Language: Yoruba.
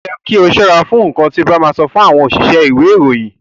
O yẹ kí o ṣọ́ra fún nkán ti o ba ma sọ si àwọn òṣìṣẹ́ ìwé ìròyìn.